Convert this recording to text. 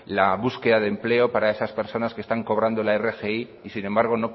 la búsqueda de empleo para esas personas que están cobrando la rgi y sin embargo